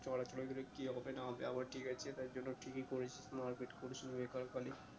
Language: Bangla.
চোরা চরি কি হবে না হবে আবার ঠিক আছে তার জন্য ঠিকই করেছিস মারপিট করিসনি বেকার খালি